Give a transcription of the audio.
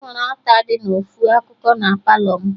Enwere alta dị na ofu akụkụ na Palọ mụ